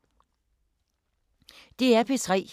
DR P3